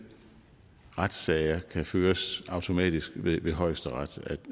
retssager kan føres automatisk ved højesteret